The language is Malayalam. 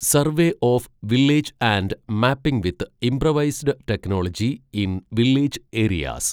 survey of village and mapping with improvised technology in village areas